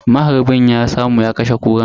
Maharbin ya samu ya kashe Kuran.